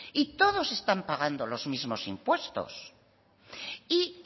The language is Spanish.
y todos están pagando los mismos impuestos y